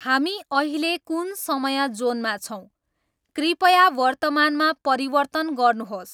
हामी अहिले कुन समय जोनमा छौँ कृपया वर्तमानमा परिवर्तन गर्नुहोस्